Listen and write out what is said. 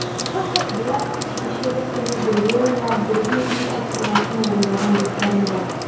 бірақ кешегі күні бірге ойнап бірге үй тапсырмасын орындаған достарым жоқ